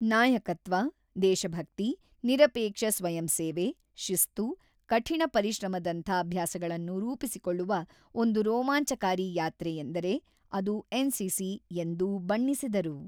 ನಾಯಕತ್ವ, ದೇಶಭಕ್ತಿ, ನಿರಪೇಕ್ಷ ಸ್ವಯಂ ಸೇವೆ, ಶಿಸ್ತು, ಕಠಿಣ ಪರಿಶ್ರಮದಂಥ ಅಭ್ಯಾಸಗಳನ್ನು ರೂಪಿಸಿಕೊಳ್ಳುವ ಒಂದು ರೋಮಾಂಚಕಾರಿ ಯಾತ್ರೆ ಎಂದರೆ ಅದು ಎನ್‌ಸಿಸಿ ಎಂದು ಬಣ್ಣಿಸಿದರು.